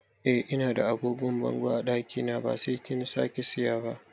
Eh Ina da agogon bango a ɗakina ba sai kin sake saya ba